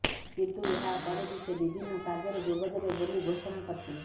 କିନ୍ତୁ ଏହାପରେ ବି ସେ ବିଭିନ୍ନ କାର୍ଯ୍ୟରେ ଯୋଗଦେବେ ବୋଲି ଘୋଷଣା କରିଥିଲେ